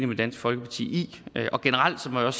med dansk folkeparti i generelt må jeg